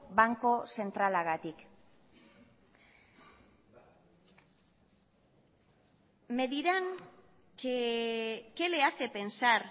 banku zentralagatik me dirán que qué le hace pensar